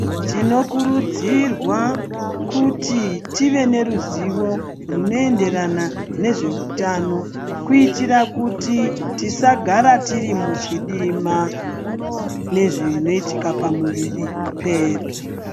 Tinokurudzirwa kuti tive neruzivo rwunoenderana nezveutano kuitira kuti tisagara tiri muchidima nezvinoitika pamuiri pedu.